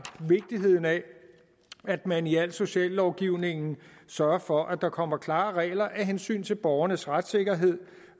vigtigheden af at man i al sociallovgivning sørger for at der kommer klare regler af hensyn til borgernes retssikkerhed